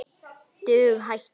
Dug hættir.